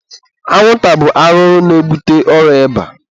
anwụnta bụ arụrụ na-ebute ọrịa ịba.